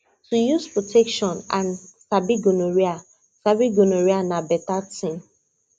to use protection and sabi gonorrhea sabi gonorrhea na better thing